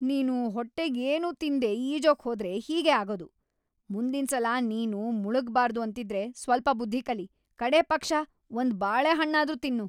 ನೀನು ಹೊಟ್ಟೆಗೇನೂ ತಿನ್ದೇ ಈಜೋಕ್‌ ಹೋದ್ರೆ ಹೀಗೇ ಆಗೋದು. ಮುಂದಿನ್ಸಲ ನೀನ್‌ ಮುಳುಗ್ಬಾರ್ದು ಅಂತಿದ್ರೆ ಸ್ವಲ್ಪ ಬುದ್ಧಿ ಕಲಿ, ಕಡೇ ಪಕ್ಷ ಒಂದ್ ಬಾಳೆಹಣ್ಣಾದ್ರೂ ತಿನ್ನು.